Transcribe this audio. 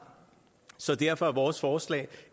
så derfor er vores forslag